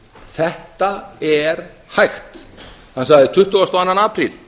þetta er hægt hann sagði tuttugasta og annan apríl